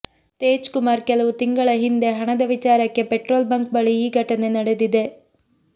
ತೇಜ್ ಕುಮಾರ್ ಕೆಲವು ತಿಂಗಳ ಹಿಂದೆ ಹಣದ ವಿಚಾರಕ್ಕೆ ಪೆಟ್ರೋಲ್ ಬಂಕ್ ಬಳಿ ಈ ಘಟನೆ ನಡೆದಿದೆ